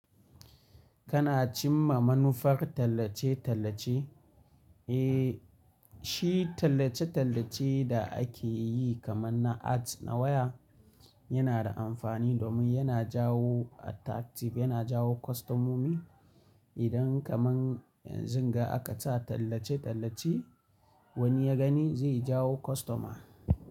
Kana cimma manufar tallace-tallace? Eh, shi tallace-tallace da ake yi kaman na ads na waya yana da amfani domin yana jawo attractive, yana jawo kwastomomi. Idan kaman yanzu ga aka sa tallace-tallace wani ya gani zai jawo kwastoma.